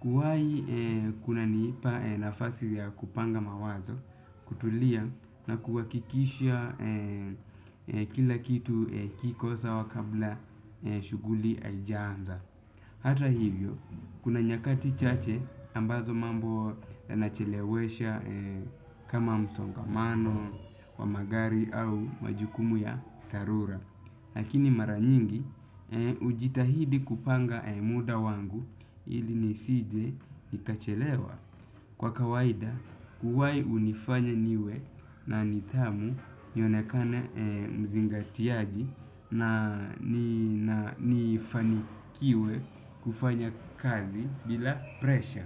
Kuwahi kuna nipa nafasi ya kupanga mawazo, kutulia na kuwakikisha kila kitu kikosa wakabla ya shughuli haijaanza. Hata hivyo, kuna nyakati chache ambazo mambo yanachelewesha kama msongamano wa magari au majukumu ya dhalura. Lakini maranyingi, hujitahidi kupanga muda wangu ili nisije nikachelewa. Kwa kawaida, kuwahi hunifanya niwe na nitamu nionekane mzingatiaji na nifanikiwe kufanya kazi bila presha.